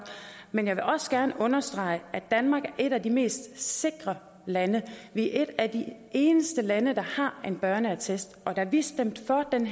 men jeg vil også gerne understrege at danmark er et af de mest sikre lande vi er et af de eneste lande der har en børneattest og da vi stemte for den